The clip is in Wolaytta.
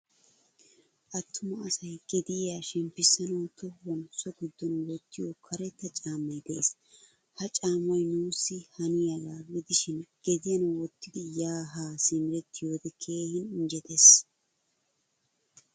Attuma asay gediyaa shempisanawu tohuwan so giddona wottiyo karetta caamay de'ees. Ha caamay nuusi haniyaaga gidishin gediyan wottidi ya ha simerettiyode keehin injjettees.